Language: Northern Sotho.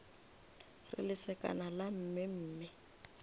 re lesekana la mme mme